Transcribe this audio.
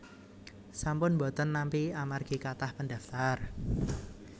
sampun mboten nampi amargi kathah pendaftar